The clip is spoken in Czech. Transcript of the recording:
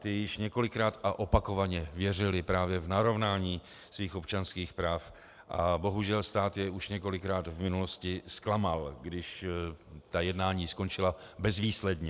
Ti již několikrát a opakovaně věřili právě v narovnání svých občanských práv a bohužel stát je už několikrát v minulosti zklamal, když ta jednání skončila bezvýsledně.